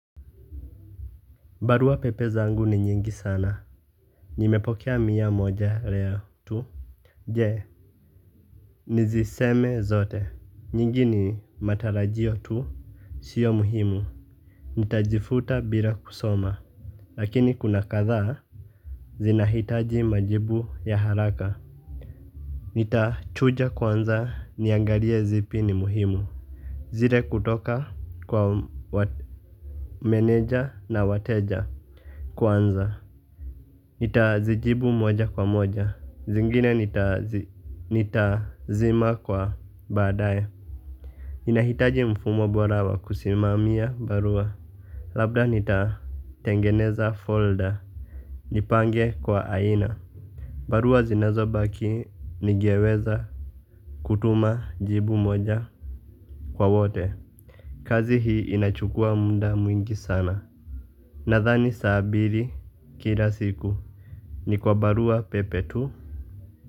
Barua pepe zangu ni nyingi sana. Nimepokea mia moja leo tu. Je niziseme zote. Nyingi ni matarajio tu sio muhimu. Nitajifuta bila kusoma. Lakini kuna kathaa. Zinahitaji majibu ya haraka. Nitachuja kwanza niangalie zipi ni muhimu. Zile kutoka kwa wate meneja na wateja kwanza. Nita zijibu moja kwa moja zingine nita zima kwa baadaye. Inahitaji mfumo bora wa kusimamia barua. Labda nita tengeneza folder nipange kwa aina. Barua zinazo baki nigeweza kutuma jibu moja kwa wote. Kazi hii inachukua munda mwingi sana. Nathani saa bili kila siku. Ni kwa barua pepe tu.